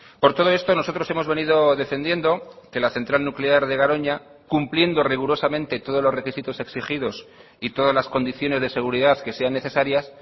por todo esto nosotros hemos venido defendiendo que la central nuclear de garoña cumpliendo rigurosamente todos los requisitos exigidos y todas las condiciones de seguridad que sean necesarias